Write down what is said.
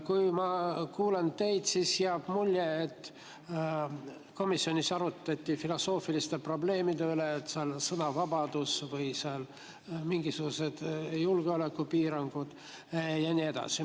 Kui ma kuulan teid, siis jääb mulje, et komisjonis arutati filosoofiliste probleemide üle, nagu sõnavabadus või mingisugused julgeolekupiirangud ja nii edasi.